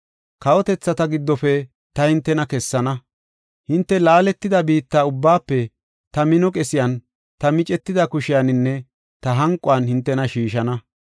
Kawotethata giddofe ta hintena kessana; hinte laaletida biitta ubbaafe ta mino qesiyan, ta micetida kushiyaninne ta hanquwan hintena shiishana.